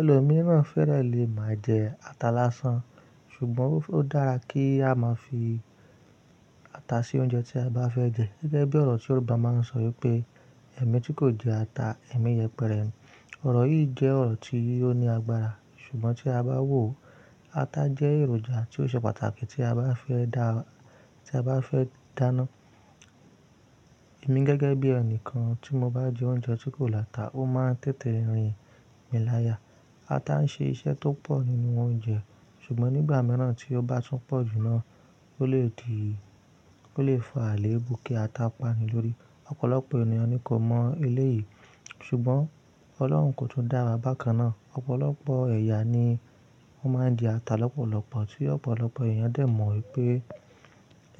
Ẹ̀lòmíràn fẹ́rẹ̀ lè má jẹ ata lásán, ṣùgbọ́n ó dára kí a máa fi ata sí oúnjẹ tí a bá fẹ́ jẹ. Gẹ́gẹ́ bí ọ̀rọ̀ tí Yorùbá máa ń sọ wípé "ẹ̀mí tí kò jẹ ata, ẹ̀mí yẹpẹrẹ ni." Ọ̀rọ̀ yìí jẹ́ ọ̀rọ̀ tí ó ní agbára, ṣùgbọ́n tí a bá wò ó, ata jẹ́ èròjà tí ó ṣe pàtàkì tí a bá fẹ́ dáná. Èmi gẹ́gẹ́ bí ẹnìkan tí mo bá jẹ oúnjẹ tí kò láta, ó máa ń tètè rìn mi láya. Ata ń ṣe iṣẹ́ tó pọ̀ nínú oúnjẹ, ṣùgbọ́n nígbà mìíràn tí ó bá tún pọ̀ jù náà, ó lè di, ó lè fa àlèébù kí ata pani lórí. Ọ̀pọ̀lọpọ̀ ènìyàn ni kò mọ eleyìí, ṣùgbọ́n Ọlọ́run kò tún dáwa bákan náà. Ọ̀pọ̀lọpọ̀ ẹ̀yà ni wọ́n máa ń jẹ ata lọ́pọ̀lọpọ̀ tí ọ̀pọ̀lọpọ̀ èèyàn dẹ̀ mọ wípé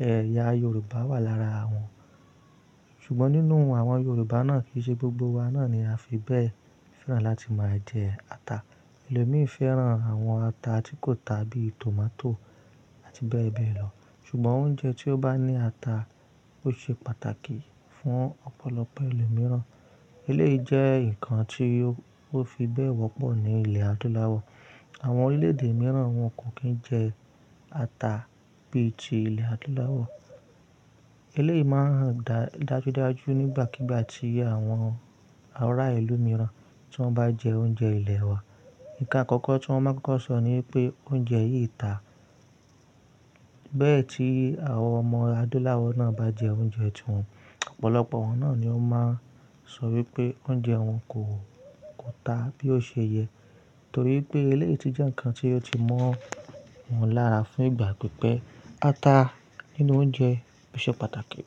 ẹ̀yà Yorùbá wà lára wọn. Ṣùgbọ́n nínú àwọn Yorùbá náà kì í ṣe gbogbo wa náà ni a fi bẹ́ẹ̀ fẹ́ràn láti máa jẹ ata. Ẹlòmí fẹ́ràn àwọn ata tí kò ta bí i tòmátò àti bẹ́ẹ̀ bẹ́ẹ̀ lọ. Ṣùgbọ́n oúnjẹ tí ó bá ní ata ó ṣe pàtàkì fún ọ̀pọ̀lọpọ̀ ẹlòmíràn. Ilé yìí jẹ́ ǹkan tí ó fi bẹ́ẹ̀ wọ́pọ̀ ní ilẹ̀ Adúláwọ̀. Àwọn orílẹ̀ èdè mìíràn wọn kò kín jẹ ata bí i ti ilẹ̀ Adúláwọ̀. Ilé yìí máa hań dàjúdájú nígbàkígbà tí àwọn ará ìlú mìíràn tí wọ́n bá jẹ oúnjẹ ilẹ̀ wa. Ǹkan àkọ́kọ́ tí wọ́n máa kọ́kọ́ sọ ni pé oúnjẹ yìí ta. Bẹ́ẹ̀ tí àwọn ọmọ Adúláwọ̀ náà bá jẹ oúnjẹ tí wọn, ọ̀pọ̀lọpọ̀ wọn náà ni ó máa ń sọ wípé oúnjẹ wọn kò ta bí ó ṣe yẹ. Nítorí pé eleyìí ti jẹ́ ǹkan tí ó ti mọ̀ wọ́n lára fún ìgbà pípẹ́. Ata nínú oúnjẹ ó ṣe pàtàkì.